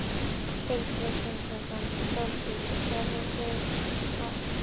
Ingveldur Geirsdóttir: Hvernig smakkast svo strákar?